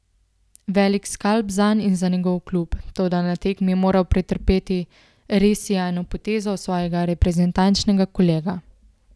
Velik skalp zanj in za njegov klub, toda na tekmi je moral pretrpeti res sijajno potezo svojega reprezentančnega kolega.